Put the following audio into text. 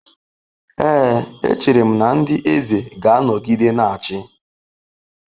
Ee, echere m na ndị eze ga-anọgide na-achị.